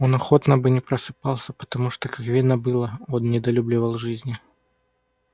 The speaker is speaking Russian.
он охотно бы не просыпался потому что как видно было он недолюбливал жизни